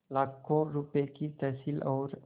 लाखों रुपये की तहसील और